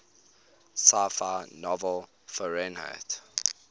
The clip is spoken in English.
sci fi novel fahrenheit